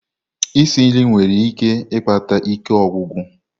Isi nri nwere ike ikpata ike ogwugwu.